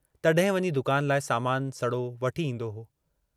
तॾहिं वञी दुकान लाइ सामानु सड़ो वठी ईंदो हो।